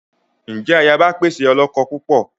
Njẹ ayaba pẹ ṣe olókó púpọ?